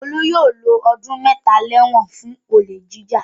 Olú yóò lo ọdún mẹ́ta lẹ́wọ̀n fún olè jíjà.